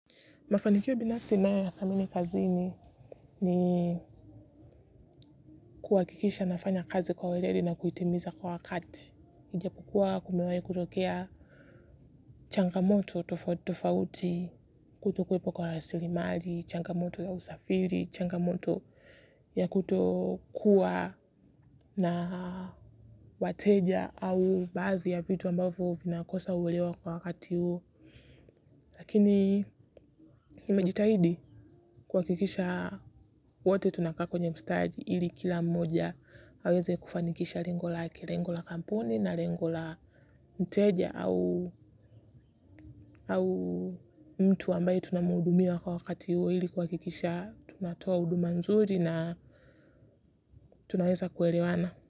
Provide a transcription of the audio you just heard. Mafanikio bila sinea thamini kazini ni kuhakikisha nafanya kazi kwa welele na kuitimiza kwa wakati. Nijia kukua kumewai kutokea changamoto tofauti kutoku wepo kwa rasilimali, changamoto ya usafiri, changamoto ya kutokuwa na wateja au baazi ya vitu ambayo vinakosa uwelewa kwa wakati huo. Lakini nimejitahidi kuhakikisha wote tunakaa kwenye mstadi ili kila mmoja aweze kufanikisha rengo lake, rengo la kampuni na rengo la mteja au mtu ambaye tunamuhudumia kwa wakati huo ili kuhakikisha tunatoa huduma nzuri na tunaweza kuelewana.